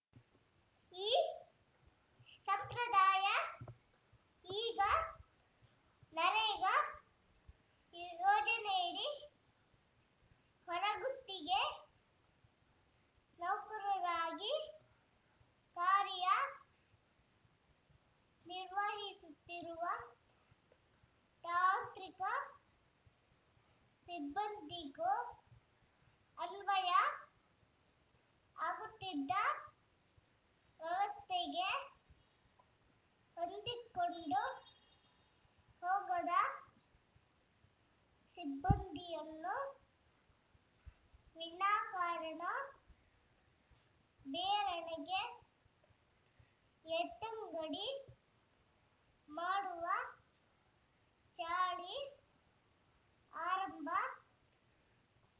ಈ ಸಂಪ್ರದಾಯ ಈಗ ನರೇಗಾ ಇಯೋಜನೆಯಡಿ ಹೊರಗುತ್ತಿಗೆ ನೌಕರರಾಗಿ ಕಾರ್ಯನಿರ್ವಹಿಸುತ್ತಿರುವ ತಾಂತ್ರಿಕ ಸಿಬ್ಬಂದಿಗೂ ಅನ್ವಯ ವಾಗುತ್ತಿದ್ದು ವ್ಯವಸ್ಥೆಗೆ ಹೊಂದಿಕೊಂಡು ಹೋಗದ ಸಿಬ್ಬಂದಿಯನ್ನು ವಿನಾಕಾರಣ ಬೇರೆಡೆಗೆ ಎತ್ತಗಂಡಿ ಮಾಡುವ ಚಾಳಿ ಆರಂಭ